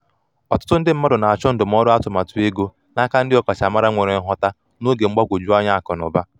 ọtụtụ ndị mmadụ na-achọ ndụmọdụ atụmatụ ego n'aka ndị ọkachamara nwere nghota n’oge mgbagwoju anya akụ na ụba.